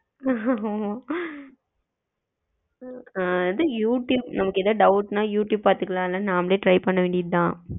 அ அதான் YouTube நமக்கு ஏதாவது doubt நா யூ டுயூப் பத்துக்கலாம்ல நம்மளே try பண்ண வேண்டியது தான்,